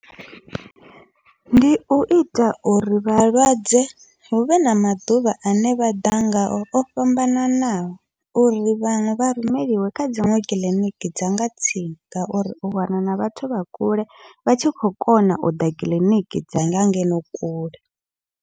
Ndi uita uri vhalwadze huvhe na maḓuvha ane vha ḓa ngao o fhambananaho, uri vha rumeliwa kha dziṅwe kiḽiniki dzanga tsini ngauri u wana na vhathu vha kule vha tshi khou kona uḓa kiḽiniki dzanga ngeno kule.